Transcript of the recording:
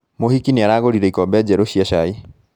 Mũhiki nĩaragũrire ikombe njerũ cia cai